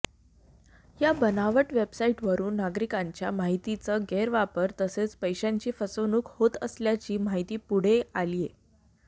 या बनावट वेबसाईटवरुन नागरिकांच्या माहितीचा गैरवापर तसेच पैशांची फसवणूक होत असल्याची माहिती पुढे आलीय